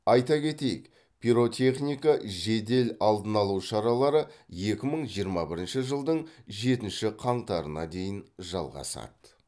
айта кетейік пиротехника жедел алдын алу шаралары екі мың жиырма бірінші жылдың жетінші қаңтарына дейін жалғасады